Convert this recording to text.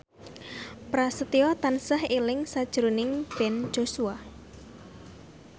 Prasetyo tansah eling sakjroning Ben Joshua